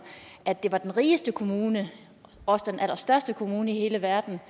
at det er den rigeste kommune og også den allerstørste kommune i hele verden